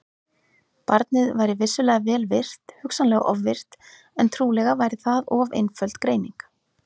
Barnið væri vissulega vel virkt, hugsanlega ofvirkt, en trúlega væri það of einföld greining.